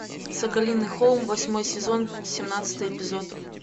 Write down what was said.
соколиный холм восьмой сезон семнадцатый эпизод